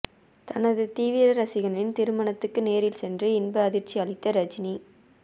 தனது தீவிர ரசிகனின் திருமணத்துக்கு நேரில் சென்று இன்ப அதிர்ச்சி அளித்த ரஜினி